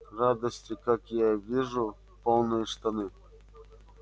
радости как я вижу полные штаны